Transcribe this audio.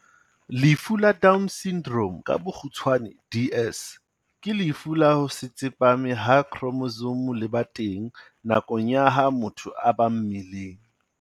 Lefu la Down Syndrome, DS, ke lefu la ho se tsepame ha khromosome le ba teng nakong ya ha motho a ba mmeleng.